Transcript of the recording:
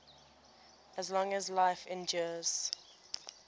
as long as life endures